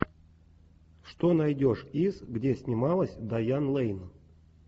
что найдешь из где снималась дайан лейн